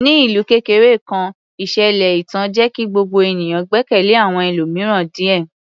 Ní ìlú kékeré kan, ìṣẹ̀lẹ̀ ẹ̀tàn jẹ́ kí gbogbo ènìyàn gbẹ́kẹ̀lé àwọn ẹlòmíràn díẹ̀.